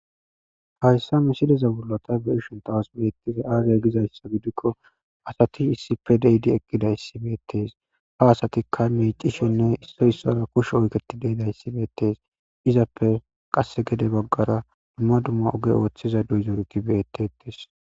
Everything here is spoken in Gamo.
Hayssa misidezabulata beishon tawas meettize aagiya gizayssa gidikko asati issipe deyidi eqqida issibeettees ha asatikka meecishenne istoyssara kush oyketi deida ssibeettees izappe qasse gede baggara dumma dumma oge ooththiza duyzorkki beyettetes.